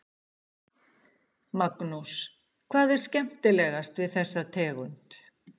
Magnús: Hvað er skemmtilegast við þessa tegund?